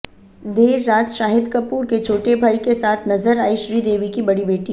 देर रात शाहिद कपूर के छोटे भाई के साथ नजर आई श्रीदेवी की बड़ी बेटी